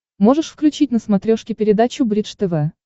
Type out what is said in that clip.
можешь включить на смотрешке передачу бридж тв